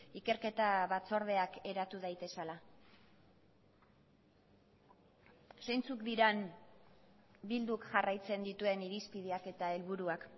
ikerketa batzordeak eratu daitezela zeintzuk diren bilduk jarraitzen dituen irizpideak eta helburuak